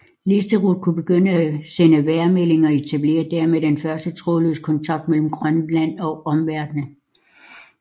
Listerud kunne begynde at sende vejrmeldinger og etablerede dermed den første trådløse kontakt mellem Grønland og omverdenen